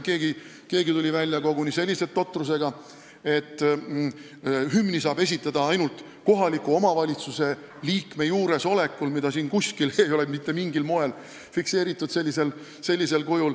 Keegi tuli välja koguni sellise totrusega, et hümni saab esitada ainult kohaliku omavalitsuse liikme juuresolekul, mida siin ei ole kuskil mitte mingil moel fikseeritud.